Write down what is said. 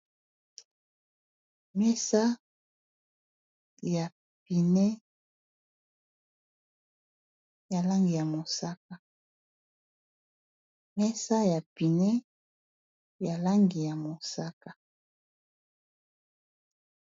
Mesa ya pneu ya langi ya mosaka.